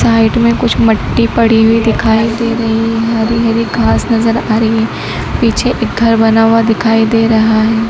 Side में कुछ मट्टी पड़ी हुई दिखाई दे रही है हरी हरी घास नजर आ रही है पीछे एक घर बना हुआ दिखाई दे रहा है।